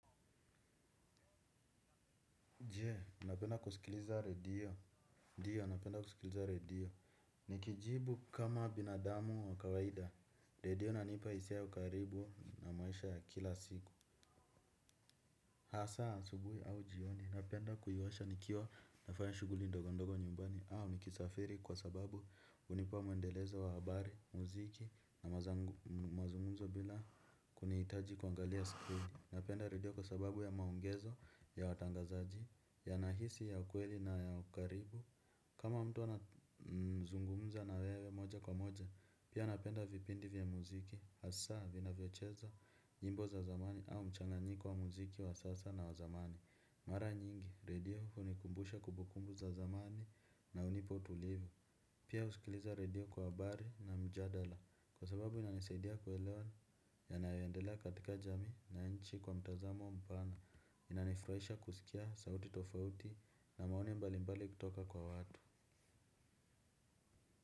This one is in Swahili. Jee, unapenda kusikiliza redio, ndio, napenda kusikiliza redio, nikijibu kama binadamu wa kawaida, redio inanipa hisia ya ukaribu na maisha ya kila siku. Hasa, asubuhi au jioni, napenda kuiwasha nikiwa nafanya shuguli ndogo ndogo nyumbani au nikisafiri kwa sababu unipa mwendelezo wa habari, mziki na mazungumzo bila kuniitaji kuangalia skrini. Napenda radio kwa sababu ya maongezo, ya watangazaji, yanahisi ya ukweli na ya ukaribu. Kama mtu anazungumza na wewe moja kwa moja, pia napenda vipindi vya muziki. Hasa vinavyocheza nyimbo za zamani au mchanganyiko wa muziki wa sasa na wa zamani. Mara nyingi, radio hunikumbusha kubukumbu za zamani na unipa utulivu. Pia usikiliza radio kwa habari na mjadala. Kwa sababu inanisaidia kuelewa yanayo endelea katika jamii na nchi kwa mtazamo mpana. Inanifuraisha kusikia sauti tofauti na maoni mbali mbali kutoka kwa watu.